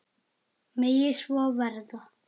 Megi svo verða.